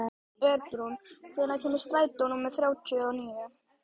Örbrún, hvenær kemur strætó númer þrjátíu og níu?